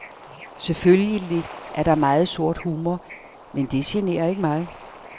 Selvfølgelig er der meget sort humor, men det generer ikke mig.